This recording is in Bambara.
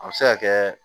A bɛ se ka kɛ